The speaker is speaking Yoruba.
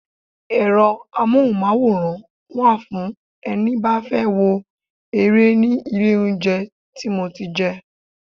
Ẹ̀rọ amohunmaworan wa fún ẹni bá fẹ́ wo ere ní ilé oúnjẹ tí mo ti jẹ.